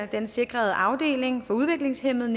den sikrede afdeling for udviklingshæmmede